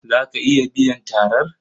Za ki iya biyan tarar?